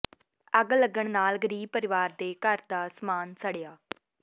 ਅੱਗ ਲੱਗਣ ਨਾਲ ਗ਼ਰੀਬ ਪਰਿਵਾਰ ਦੇ ਘਰ ਦਾ ਸਮਾਨ ਸੜਿਆ